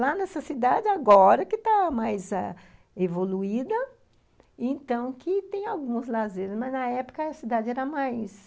Lá nessa cidade, agora, que está mais ah evoluída, então, que tem alguns lazeres, mas, na época, a cidade era mais...